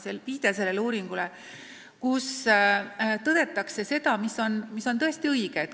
Selle uuringu järeldustes tõdetakse seda, mis on tõesti õige.